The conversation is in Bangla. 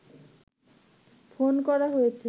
ফোন করা হয়েছে